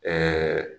Ɛɛ